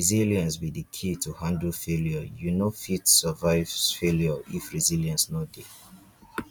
resilience be di key to handle failure you no fit survive failure if resilience no dey.